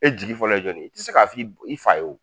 E jigi fɔlɔ ye jɔnin ye? I ti se k'a f'i b i fa ye o.